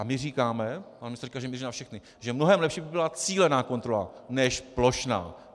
A my říkáme - pan ministr říká, že míří na všechny - že mnohem lepší by byla cílená kontrola než plošná.